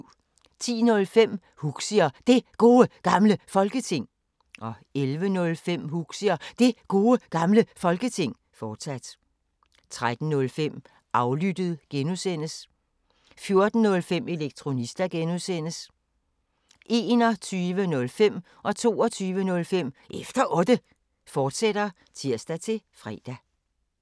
10:05: Huxi og Det Gode Gamle Folketing 11:05: Huxi og Det Gode Gamle Folketing, fortsat 13:05: Aflyttet G) 14:05: Elektronista (G) 21:05: Efter Otte, fortsat (tir-fre) 22:05: Efter Otte, fortsat (tir-fre)